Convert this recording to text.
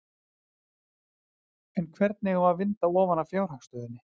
En hvernig á að vinda ofan af fjárhagsstöðunni?